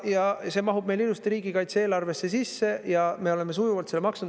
Ja see mahub meil ilusti riigikaitse-eelarvesse sisse ja me oleme sujuvalt seda maksnud.